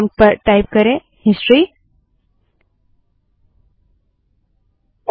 prompt में history type करें